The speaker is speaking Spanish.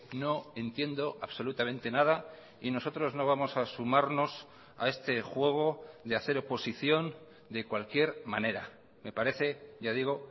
no entiendo absolutamente nada y nosotros no vamos a sumarnos a este juego de hacer oposición de cualquier manera me parece ya digo